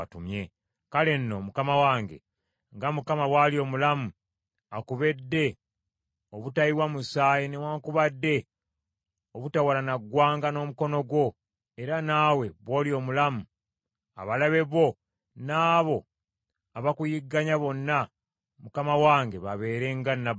“Kale nno mukama wange, nga Mukama bw’ali omulamu, akubedde obutayiwa musaayi newaakubadde obutawalana ggwanga n’omukono gwo, era naawe bw’oli omulamu, abalabe bo, n’abo abakuyigganya bonna mukama wange babeere nga Nabali.